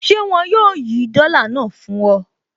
Ṣé wọn yóò yí dọ́là náà fún ọ?